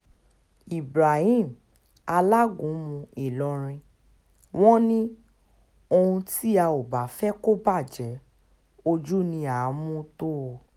ibrahim alágúnmu ìlọrin wọn ní ohun tí a ò bá fẹ́ kó bàjẹ́ ojú ni à á mú tọ́ ọ